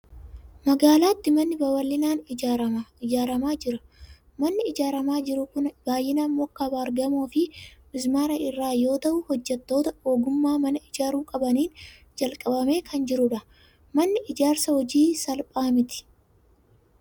Magaalaatti manni babal'inaan ijaaramaa jira. Manni ijaaramaa jiru kun baay'inaan muka baargamoo fi mismaara irraa yoo ta'u, hojjettoota ogummaa mana ijaaruu qabaniin jalqabamee kan jirudha. Manni ijaarsa hojii salphaa miti!